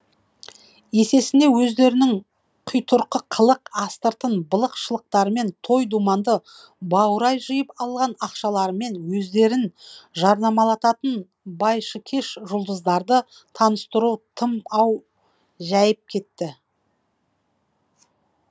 есесіне өздерінің қитұрқы қылық астыртын былық шылықтарымен той думанды баурай жиып алған ақшаларымен өздерін жарнамалататын байшыкеш жұлдыздарды таныстыру тым ау жәйіп кетті